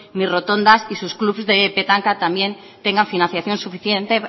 ni rotondas y sus clubs de petanca también tengan financiación suficiente